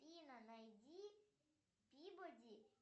афина найди пибоди